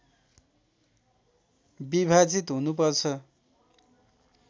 विभाजित हुनुपर्छ